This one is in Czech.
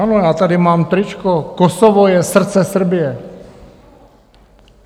Ano, já tady mám tričko - Kosovo je srdce Srbije.